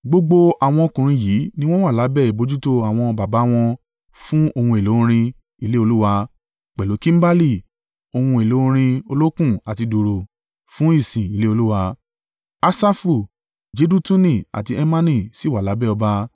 Gbogbo àwọn ọkùnrin yìí ni wọ́n wà lábẹ́ ìbojútó àwọn baba wọn fún ohun èlò orin ilé Olúwa, pẹ̀lú kimbali, ohun èlò orin olókùn àti dùùrù, fún ìsìn ilé Olúwa. Asafu, Jedutuni àti Hemani sì wà lábẹ́ ọba.